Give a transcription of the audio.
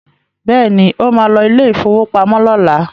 Bẹ́ẹ̀ni, ó ma lọ ilé ìfowópamọ́ lọ́la